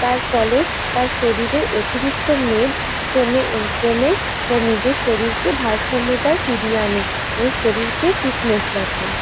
তার ফলে তার শরীরের অতিরিক্ত মেদ কমে কমে নিজের শরীরকে ভারসাম্যতায় ফিরিয়ে আনে এবং শরীরকে ফিটনেস রাখে।